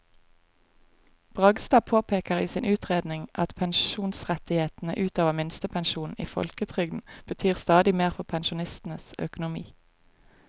Bragstad påpeker i sin utredning at pensjonsrettighetene ut over minstepensjonen i folketrygden betyr stadig mer for pensjonistenes økonomi.